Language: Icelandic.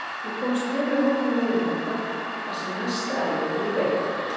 Við komumst heilu og höldnu á leiðarenda þar sem næsta ævintýri beið okkar.